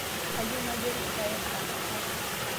Kayieu nayier lpayeg anapar